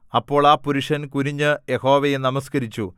അപ്പോൾ ആ പുരുഷൻ കുനിഞ്ഞു യഹോവയെ നമസ്കരിച്ചു